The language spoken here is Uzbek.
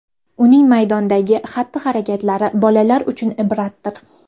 Uning maydondagi xatti-harakatlari bolalar uchun ibratdir”.